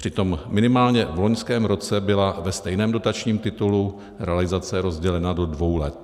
Přitom minimálně v loňském roce byla ve stejném dotačním titulu realizace rozdělena do dvou let.